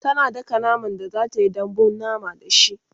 tana daka naman da zatayi dambun mama da shi